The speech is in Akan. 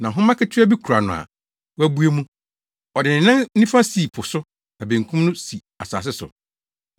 Na nhoma ketewaa bi kura no a wabue mu. Ɔde ne nan nifa sii po so na benkum no si asase so.